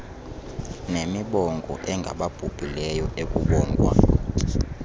nemibongo engababhubhileyo ekubongwa